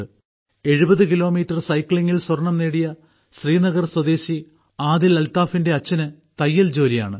70 kilometre സൈക്ലിങ്ങിൽ സ്വർണം നേടിയ ശ്രീനഗർ സ്വദേശി ആദിൽ അൽത്താഫിന്റെ അച്ഛന് തയ്യൽ ജോലിയാണ്